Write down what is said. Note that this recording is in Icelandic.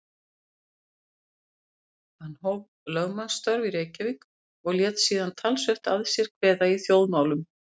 Hann hóf þá lögmannsstörf í Reykjavík og lét síðan talsvert að sér kveða í þjóðmálum.